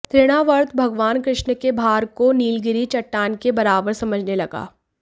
तृणावर्त भगवान कृष्ण के भार को नीलगिरी चट्टान के बराबर समझने लगा